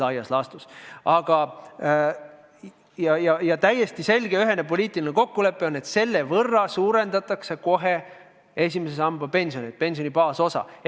Samuti on täiesti üheselt selge poliitiline kokkulepe, et laekunud sotsiaalmaksu varal suurendatakse kohe esimese samba pensionit, pensioni baasosa.